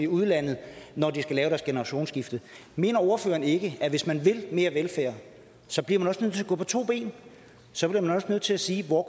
udlandet når de skal lave deres generationsskifte mener ordføreren ikke at hvis man vil have mere velfærd så bliver man også nødt til at gå på to ben så bliver man nødt til at sige hvor